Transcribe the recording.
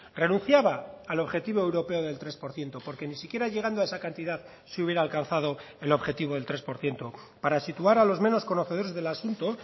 renunciaba al objetivo europeo del tres por ciento porque ni siquiera llegando a esa cantidad se hubiera alcanzado el objetivo del tres por ciento para situar a los menos conocedores del asunto